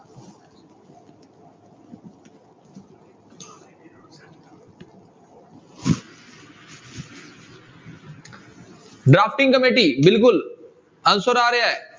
Drafting committee ਬਿਲਕੁਲ answer ਆ ਰਿਹਾ ਹੈ।